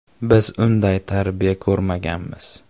Biz unday tarbiya ko‘rmaganmiz.